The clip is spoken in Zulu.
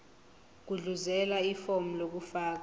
gudluzela ifomu lokufaka